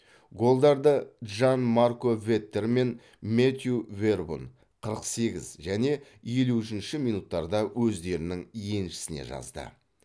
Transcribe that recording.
голдарды джан марко веттер мен мэттью вербун қырық сегіз және елу үшініші минуттарда өздерінің еншісіне жазды